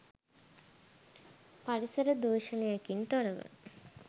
පරිසර දූෂණයකින් තොරව